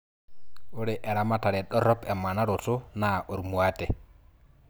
ore eramatare dorop emanaroto naa ormuate